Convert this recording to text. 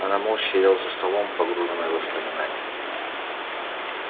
она молча сидела за столом погруженная в воспоминания